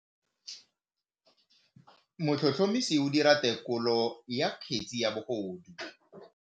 Motlhotlhomisi o dira têkolô ya kgetse ya bogodu.